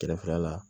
Kɛrɛfɛla la